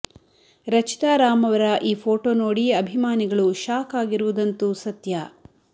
ರಚಿತಾ ರಾಮ್ ಅವರ ಈ ಫೋಟೋ ನೋಡಿ ಅಭಿಮಾನಿಗಳು ಶಾಕ್ ಆಗಿರುವುದಂತೂ ಸತ್ಯ